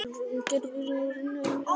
Getur Ísland unnið England?